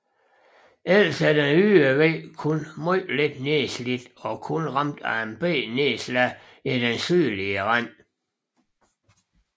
Ellers er den ydre væg kun meget lidt nedslidt og kun ramt af et lille nedslag i den sydlige rand